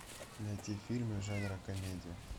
найти фильмы жанра комедия